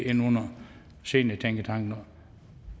ind under seniortænketanken